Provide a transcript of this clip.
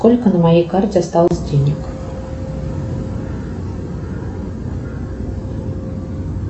сколько на моей карте осталось денег